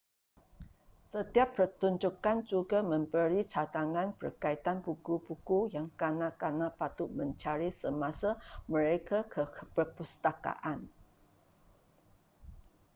setiap pertunjukkan juga memberi cadangan berkaitan buku-buku yang kanak-kanak patut mencari semasa mereka ke perpustakaan